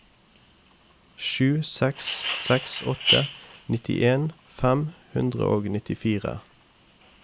sju seks seks åtte nittien fem hundre og nittifire